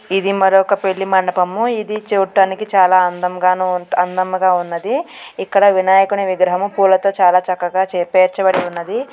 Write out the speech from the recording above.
ఇది మరొక పెళ్లి మండపము. ఇది చూడటానికి చాలా అందముగా అందంగా ఉంట్ ఉన్నది. ఇక్కడ వినాయకుని విగ్రహము పూలతో చాలా చక్కగా పేర్చబడి ఉన్నది.